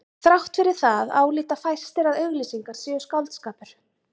Þrátt fyrir það álíta fæstir að auglýsingar séu skáldskapur.